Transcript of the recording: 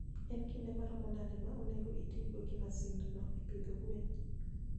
En kinde maromo nade ma onego otigo gi masindno e pidho gwen?